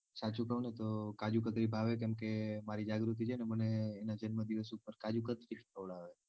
સાચું કૌ ને તો કાજુકતરી ભાવે કેમ કે મારી જાગૃતિ છે ને મને એના જન્મદિવસ ઉપર કાજુકતરી ખવડાવે.